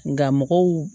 Nka mɔgɔw